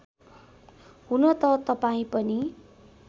हुनत तपाईँ पनि